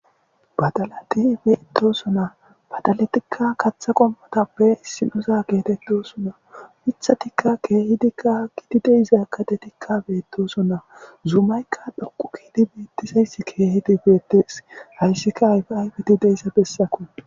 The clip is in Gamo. Badalati beetosona badaletikka katha qommotappe issinosa geetettosuna pitha tikka keehidikka gidi deizakade tikka beetosonna zuumaykka dhoqu kiidi beettisayss keehidi beettees hayssika hayfi ayfidi deissa bessako